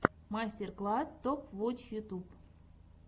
мастер класс топ вотч ютюб